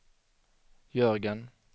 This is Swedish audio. Jörgen